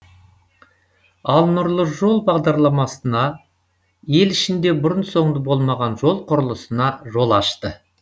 ал нұрлы жол бағдарламасы ел ішінде бұрын соңды болмаған жол құрылысына жол ашты